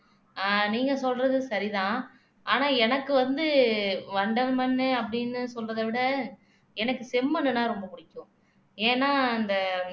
ஆஹ் நீங்க சொல்றது சரிதான் ஆனா எனக்கு வந்து வண்டல் மண்ணு அப்படின்னு சொல்றத விட எனக்கு செம்மண்ணுன்னா ரொம்ப பிடிக்கும் ஏன்னா அந்த